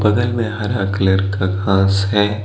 बगल में हरा कलर का घास है।